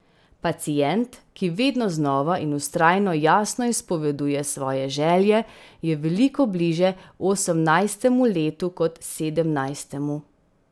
Pacient, ki vedno znova in vztrajno jasno izpoveduje svoje želje, je veliko bliže osemnajstemu letu kot sedemnajstemu.